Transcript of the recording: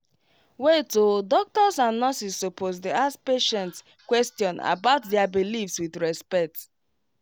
wait odoctors and nurses supposed dey ask patient question about their beliefs with respect